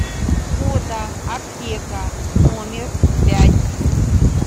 фото аптека номер пять